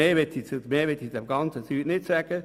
Mehr möchte ich dazu nicht sagen.